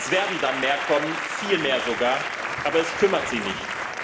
Es werden dann mehr kommen, viel mehr sogar, aber es kümmert sie nicht.